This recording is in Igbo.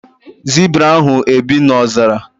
Zibra ahụ e bi na ọzara?